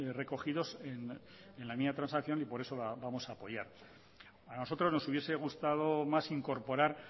recogidos en la enmienda de transacción y por eso la vamos a apoyar a nosotros nos hubiese gustado más incorporar